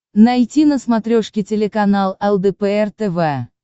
найти на смотрешке телеканал лдпр тв